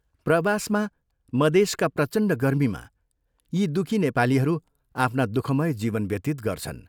प्रवासमा, मदेशका प्रचण्ड गर्मीमा, यी दुःखी नेपालीहरू आफ्ना दुःखमय जीवन व्यतीत गर्छन्।